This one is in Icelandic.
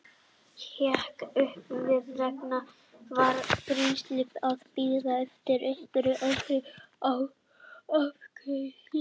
Hékk upp við vegg og var greinilega að bíða eftir einhverju öðru en afgreiðslu.